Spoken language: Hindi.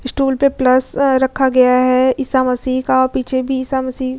स्टूल पे प्लस रखा गया है ईसा मसीह का पीछे भी ईसा मसीह --